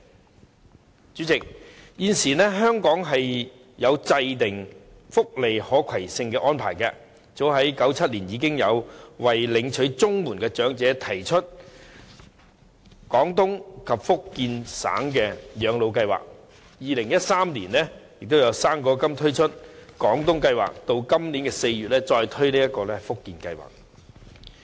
代理主席，現時香港制訂了福利可攜性的安排，早在1997年已為領取綜合社會保障援助的長者推出綜援長者自願回廣東省養老計劃，並於2013年就"生果金"推出廣東計劃，及至今年4月再推出福建計劃。